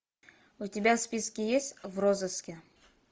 у тебя в списке есть в розыске